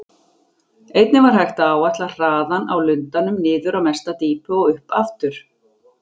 Einnig var hægt að áætla hraðann á lundanum niður á mesta dýpi og upp aftur.